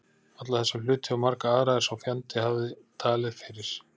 Alla þessa hluti og marga aðra, er sá fjandi hafði talið fyrir